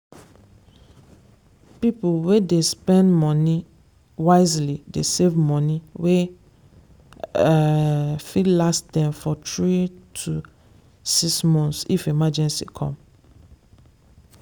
people wey dey spend money wisely dey save money wey um fit last them for three to six if emergency come.